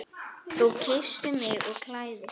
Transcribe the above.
Þú kyssir mig og klæðir.